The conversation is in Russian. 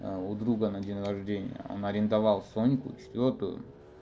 а у друга на день рождения он арендовал соньку четвёртую